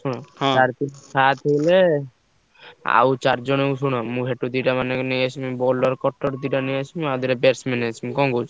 ସାତ ହେଲେ ଆଉ ଚାରିଜଣ ଶୁଣ ମୁଁ ସେଠୁ ଦିଟା ମାନେ ନେଇଆସିବି bowler cutter ଦିଟା ନେଇଆସିବି ଆଉ ଦିଟା batsman ନେଇଆସିବି କଣ କହୁଛ ?